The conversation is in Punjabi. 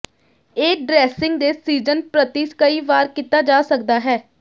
ਇਹ ਡਰੈਸਿੰਗ ਦੇ ਸੀਜ਼ਨ ਪ੍ਰਤੀ ਕਈ ਵਾਰ ਕੀਤਾ ਜਾ ਸਕਦਾ ਹੈ